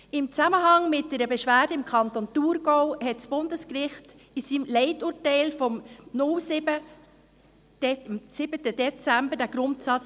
Im Zusammenhang mit einer Beschwerde im Kanton Thurgau bestätigte das Bundesgericht in seinem Leiturteil vom 7. Dezember 2007 diesen Grundsatz.